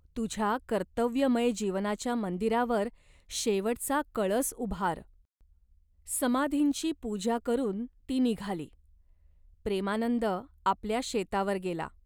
तुझ्या कर्तव्यमय जीवनाच्या मंदिरावर शेवटचा कळस उभार." समाधींची पूजा करून ती निघाली. प्रेमानंद आपल्या शेतावर गेला.